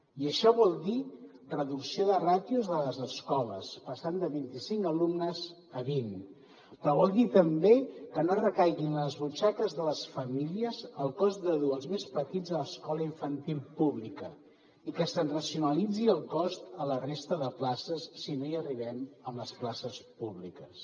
i això vol dir reducció de ràtios a les escoles passant de vint i cinc alumnes a vint però vol dir també que no recaigui en les butxaques de les famílies el cost de dur els més petits a l’escola infantil pública i que se’n racionalitzi el cost a la resta de places si no hi arribem amb les places públiques